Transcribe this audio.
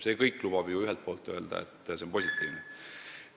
See kõik lubab ühelt poolt öelda, et areng on positiivne.